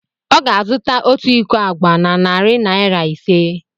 Ọ ga-azụta otu iko agwa na narị naira ise.